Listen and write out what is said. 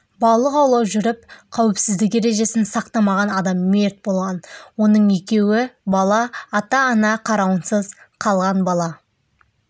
балық аулап жүріп қауіпсіздік ережесін сақтамаған адам мерт болған оның екеуі бала ата-ана қарауынсыз қалған бала